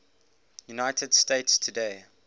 united states today